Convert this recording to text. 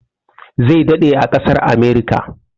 Zai daɗe a ƙasar Amurika.